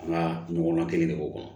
An ka ɲɔgɔn kelen de b'o kɔnɔ